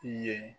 I ye